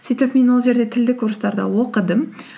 сөйтіп мен ол жерде тілдік курсттарда оқыдым